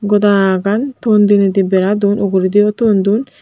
goda gan ton dineidi bera don ugurediyo ton don.